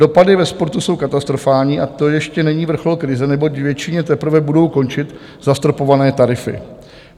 Dopady ve sportu jsou katastrofální, a to ještě není vrchol krize, neboť většině teprve budou končit zastropované tarify.